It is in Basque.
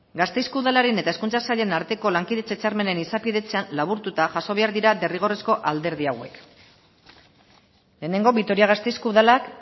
gasteizko udalaren eta hezkuntza sailaren arteko lankidetza hitzarmenen izapidetzan laburtuta jaso behar dira derrigorrezko alderdi hauek lehenengo vitoria gasteizko udalak